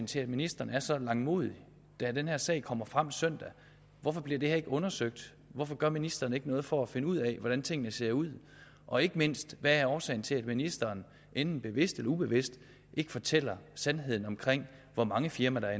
til at ministeren er så langmodig den her sag kommer frem søndag hvorfor bliver det ikke undersøgt hvorfor gør ministeren ikke noget for at finde ud af hvordan tingene ser ud og ikke mindst hvad er årsagen til at ministeren enten bevidst eller ubevidst ikke fortæller sandheden om hvor mange firmaer der